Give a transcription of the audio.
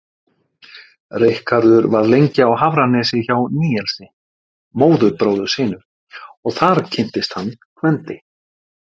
Ríkharður var lengi á Hafranesi hjá Níelsi, móðurbróður sínum, og þar kynntist hann Gvendi.